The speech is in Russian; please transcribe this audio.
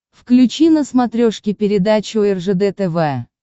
включи на смотрешке передачу ржд тв